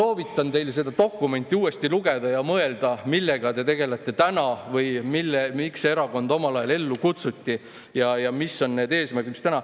Ma soovitan teil seda dokumenti uuesti lugeda ja mõelda, millega te tegelete täna ja miks see erakond omal ajal ellu kutsuti ja mis on need eesmärgid.